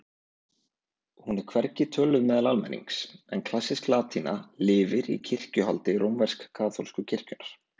Hún er hvergi töluð meðal almennings en klassísk latína lifir í kirkjuhaldi rómversk-kaþólsku kirkjunnar.